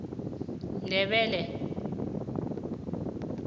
ndebele